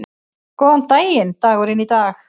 Góðan daginn dagurinn í dag